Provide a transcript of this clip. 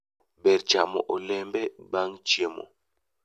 Ber chamo olembe bang' chiemo